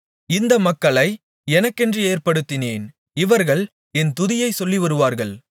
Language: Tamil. இந்த மக்களை எனக்கென்று ஏற்படுத்தினேன் இவர்கள் என் துதியைச் சொல்லிவருவார்கள்